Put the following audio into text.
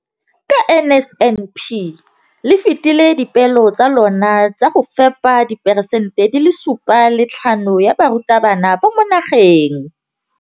Ka NSNP le fetile dipeelo tsa lona tsa go fepa masome a supa le botlhano a diperesente ya barutwana ba mo nageng.